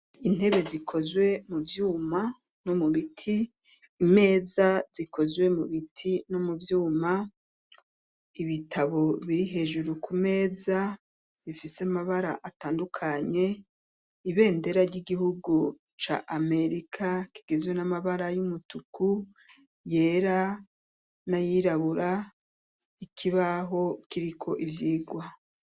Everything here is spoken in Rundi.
Intebe zikozwe muvyuma no mubiti imeza zikozwe mu biti no mu vyuma ibitabo biri hejuru kumeza bifise amabara atandukanye ibendera ry'igihugu ca amerika igizwe namabara yumutuku yera nayirabura ikibaho kiriko ivyirwa.